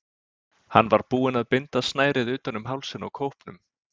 Hann var búinn að binda snærið utan um hálsinn á kópnum.